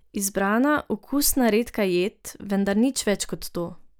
Izbrana, okusna, redka jed, vendar nič več kot to.